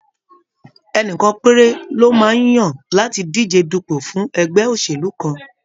Ẹnìkan péré lọ máa ń yan láti díje dupo fún ẹgbẹ́ òṣèlú kan.